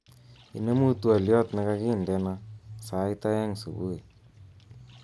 Inemu twoliot nekakindena sait aeng subui